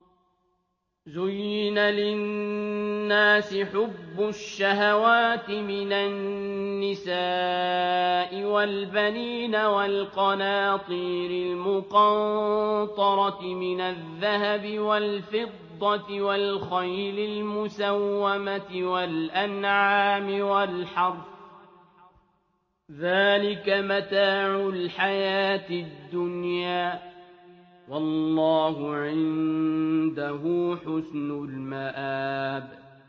زُيِّنَ لِلنَّاسِ حُبُّ الشَّهَوَاتِ مِنَ النِّسَاءِ وَالْبَنِينَ وَالْقَنَاطِيرِ الْمُقَنطَرَةِ مِنَ الذَّهَبِ وَالْفِضَّةِ وَالْخَيْلِ الْمُسَوَّمَةِ وَالْأَنْعَامِ وَالْحَرْثِ ۗ ذَٰلِكَ مَتَاعُ الْحَيَاةِ الدُّنْيَا ۖ وَاللَّهُ عِندَهُ حُسْنُ الْمَآبِ